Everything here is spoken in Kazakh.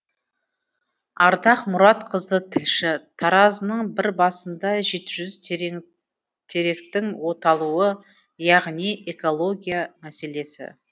ардақ мұратқызы тілші таразының бір басында жеті жүз теректің оталуы яғни экология мәселесі